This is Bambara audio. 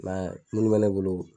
munnu bɛ ne bolo